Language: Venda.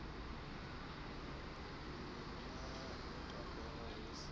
nṋne o tambela hu si